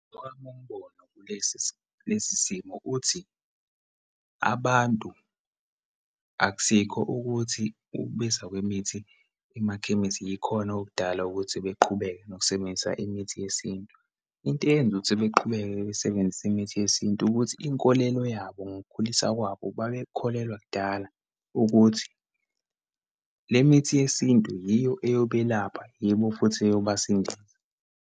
Owami umbono kulesi lesi kulesi simo uthi, abantu akusikho ukuthi ukubiza kwemithi emakhemisi yikhona okudala ukuthi beqhubeke nokusebenzisa imithi yesintu. Into eyenza ukuthi beqhubeke besebenzise imithi yesintu ukuthi inkolelo yabo, ngokukhuliswa kwabo babekholelwa kudala ukuthi, le mithi yesintu yiyo eyobelapha, yibo futhi eyobasindisa.